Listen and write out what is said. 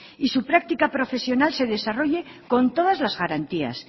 y su práctica profesional se desarrolle con todas las garantías